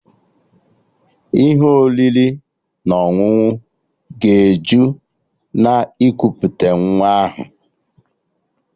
Ihe oriri na ọṅụṅụ ga-eju na ikuputa nwa ahụ